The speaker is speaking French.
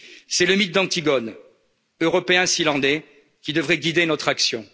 coronavirus. C'est le mythe d'Antigone, européen s'il en est, qui devrait guider notre